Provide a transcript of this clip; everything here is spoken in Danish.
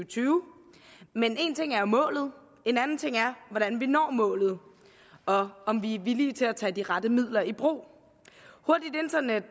tyve men en ting er jo målet en anden ting er hvordan vi når målet og om vi er villige til at tage de rette midler i brug hurtigt internet